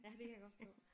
Ja det kan jeg godt forstå